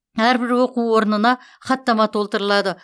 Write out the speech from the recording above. әрбір оқу орнына хаттама толтырылады